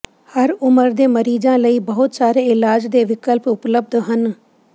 ਹਰ ਉਮਰ ਦੇ ਮਰੀਜ਼ਾਂ ਲਈ ਬਹੁਤ ਸਾਰੇ ਇਲਾਜ ਦੇ ਵਿਕਲਪ ਉਪਲਬਧ ਹਨ